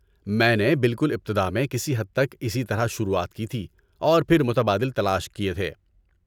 میں نے بالکل ابتدا میں کسی حد تک اسی طرح شروعات کی تھی اور پھر متبادل تلاش کیے تھے۔